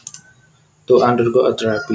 To undergo a therapy